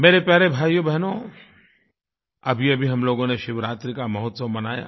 मेरे प्यारे भाइयोबहनो अभीअभी हम लोगों ने शिवरात्रि का महोत्सव मनाया